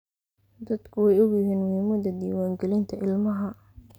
Dadku way ogyihiin muhiimada diwaan galinta ilmaha.